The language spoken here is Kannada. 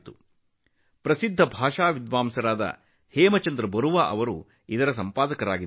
ಇದನ್ನು ಖ್ಯಾತ ಭಾಷಾಶಾಸ್ತ್ರಜ್ಞ ಹೇಮಚಂದ್ರ ಬರುವಾ ಅವರು ಸಂಪಾದಿಸಿದ್ದಾರೆ